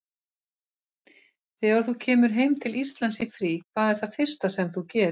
Þegar þú kemur heim til Íslands í frí, hvað er það fyrsta sem þú gerir?